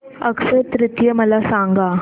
अक्षय तृतीया मला सांगा